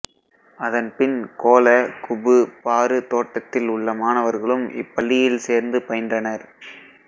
அதன்பின் Kuala Kubu Bharu தோட்டத்தில் உள்ள மாணவர்களும் இப்பள்ளியில் சேர்ந்து பயின்றனர்